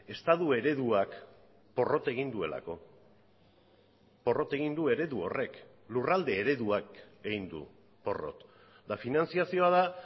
estatu ereduak porrot egin duelako porrot egin du eredu horrek lurralde ereduak egin du porrot eta finantzazioa da